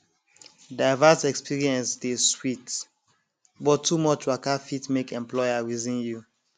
diverse experience dey sweet but too much waka fit make employer reason you